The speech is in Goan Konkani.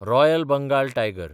royal Bengal tiger